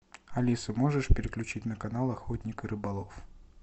алиса можешь переключить на канал охотник и рыболов